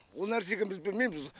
ол нәрсеге біз білмейміз